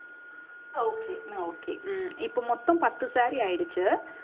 okay okay உம் இப்ப மொத்தம் பத்து saree ஆயிடுச்சு